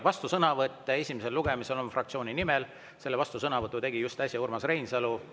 Vastusõnavõtt on esimesel lugemisel fraktsiooni nimel, selle vastusõnavõtu tegi äsja Urmas Reinsalu.